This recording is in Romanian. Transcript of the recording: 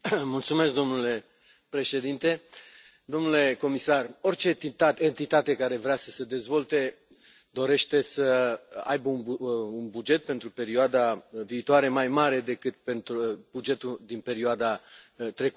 Domnule președinte, domnule comisar, orice entitate care vrea să se dezvolte dorește să aibă un buget pentru perioada viitoare mai mare decât bugetul din perioada trecută.